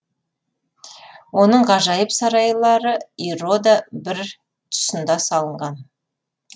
оның ғажайып сарайлары ирода бір тұсында салынған